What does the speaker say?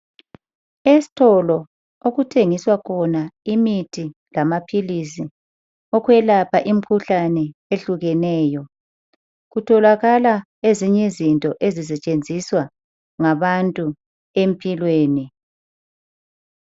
Esitolo okuthengiswa khona imithi lamaphilisi okwelapha imikhuhlane ehlukeneyo kutholakala ezinye izinto ezisetshenziswa ngabantu empilweni.